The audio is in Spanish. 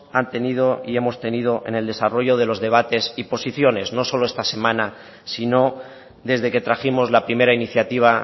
han tenido y hemos tenido en el desarrollo de los debates y posiciones no solo esta semana sino desde que trajimos la primera iniciativa